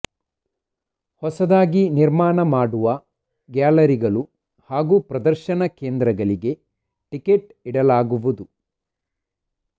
ಹೊಸದಾಗಿ ನಿರ್ಮಾಣ ಮಾಡುವ ಗ್ಯಾಲರಿಗಳು ಹಾಗೂ ಪ್ರದರ್ಶನ ಕೇಂದ್ರಗಳಿಗೆ ಟಿಕೆಟ್ ಇಡಲಾಗುವುದು